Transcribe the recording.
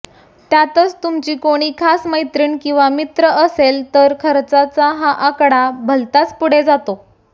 त्यातच तुमची कोणी खास मैत्नीण किंवा मित्न असेल तर खर्चाचा हा आकडा भलतांच पुढे जातो